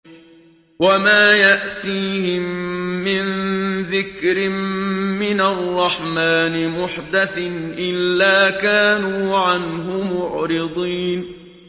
وَمَا يَأْتِيهِم مِّن ذِكْرٍ مِّنَ الرَّحْمَٰنِ مُحْدَثٍ إِلَّا كَانُوا عَنْهُ مُعْرِضِينَ